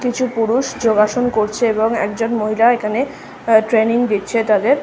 কিছু পুরুষ যোগাসন করছে এবং একজন মহিলা এখানে ট্রেনিং দিচ্ছে তাদের।